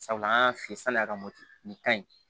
Sabula an y'a fiyɛ san'a ka moto nin ka ɲi